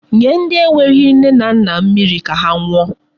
Nye ndi enweghi nne na nna mmiri ka ha ṅụọ.